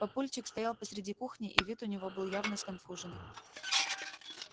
папульчик стоял посреди кухни и вид у него был явно сконфуженный